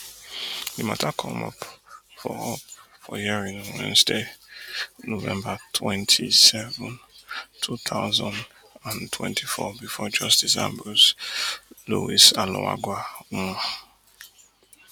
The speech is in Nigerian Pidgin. di matter come up for up for hearing on wednesday november twenty-seven two thousand and twenty-four bifor justice ambrose lewisallagoa um